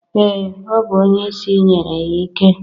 Ee, ọ bụ onyeisi nyere ya ike.